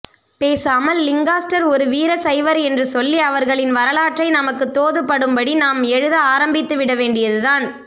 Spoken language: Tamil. பேசாமல் லிங்காஸ்டர் ஒரு வீரசைவர் என்று சொல்லி அவர்களின் வரலாற்றை நமக்குத் தோதுப்படும்படி நாம் எழுத ஆரம்பித்துவிடவேண்டியதுதான்